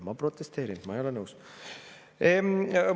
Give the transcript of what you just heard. Ma protesteerin, ma ei ole nõus!